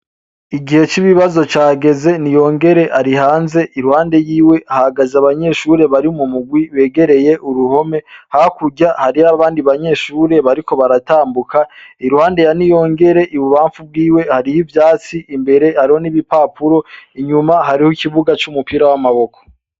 Igihe c'ibibazo cageze. Niyongere ari hanze, iruhande yiwe hahagaze abanyeshure bari mu murwi begereye uruhome, hakurya hariho abandi banyeshure bariko baratambuka. Iruhande ya Niyongere ibubamfu bwiwe hariho ivyatsi, imbere hariho n'ibipapuro, inyuma hariho ikibuga c'umupira w'amaboko.